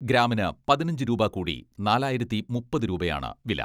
ഗ്രാമിന് പതിനഞ്ച് രൂപ കൂടി നാലായിരത്തി മുപ്പത് രൂപയാണ് വില.